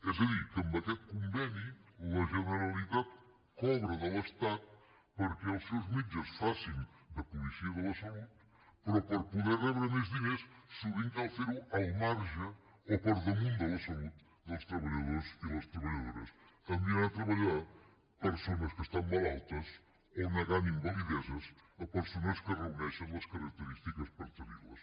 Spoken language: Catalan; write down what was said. és a dir que amb aquest conveni la generalitat cobra de l’estat perquè els seus metges facin de policia de la salut però per poder rebre més diners sovint cal fer ho al marge o per damunt de la salut dels treballadors i les treballadores enviant a treballar persones que estan malaltes o negant invalideses a persones que reuneixen les característiques per tenir les